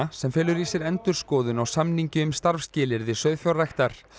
sem felur í sér endurskoðun á samningi um starfsskilyrði sauðfjárræktar